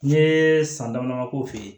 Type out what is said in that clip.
N ye san damadɔ feere